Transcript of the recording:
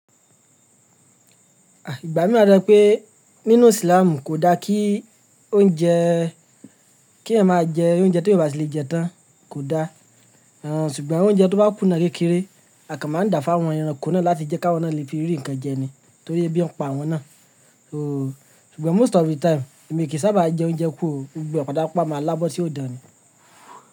Ah ìgbà mí wáa to je pé nínú Islam kò da kí oúnjẹ, kí ẹ̀yán máa jẹ oúnjẹ tí èyán obà ti lè jẹ tán kò da. Àn ṣùgbọ́n oúnjẹ tó bá kù ná kékeré, àkàn máa n da fún àwọn ẹranko náà láti jẹ́ káwọn náà lè fi rí nǹkan jẹ ni. Torí bí wọn pa àwọn náà. Ooo ṣùgbọ́n most of the time èmi kì í sábà jẹ oúnjẹ kú ò gbogbo eh pata máa lábọ́ tí òdani.